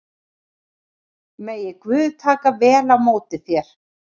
Megi Guð taka vel á móti þér.